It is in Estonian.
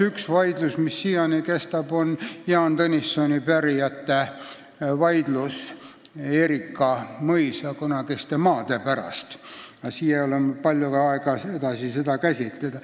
Üks vaidlus, mis siiani kestab, on Jaan Tõnissoni pärijate soov tagasi saada kunagise Erika mõisa maad, aga siin ei ole aega seda käsitleda.